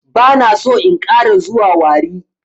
Bana so in ƙara zuwa warri.